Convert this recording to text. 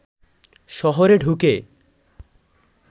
শহরে ঢুকে